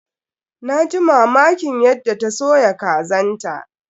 Na ji mamakin yadda ta soya kazan ta.